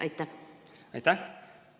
Aitäh!